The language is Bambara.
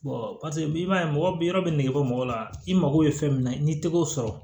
i b'a ye mɔgɔ bɛ nege bɔ mɔgɔ la i mako bɛ fɛn min na i n'i tɛ k'o sɔrɔ